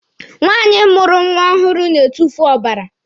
Nwaanyị mụrụ nwa ọhụrụ na-etufu ọbara.